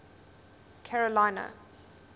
carolina